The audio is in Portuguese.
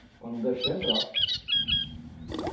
Para não deixar entrar.